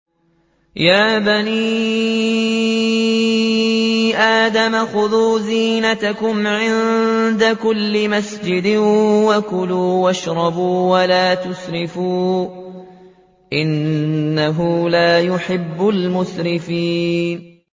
۞ يَا بَنِي آدَمَ خُذُوا زِينَتَكُمْ عِندَ كُلِّ مَسْجِدٍ وَكُلُوا وَاشْرَبُوا وَلَا تُسْرِفُوا ۚ إِنَّهُ لَا يُحِبُّ الْمُسْرِفِينَ